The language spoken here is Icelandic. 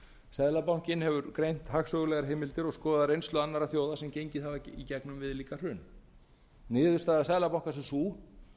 seðlabankinn hefur greint hagstofulegar heimildir og skoðað reynslu annarra þjóða sem gengið hafa í gegnum viðlíka hrun niðurstaða seðlabankans er sú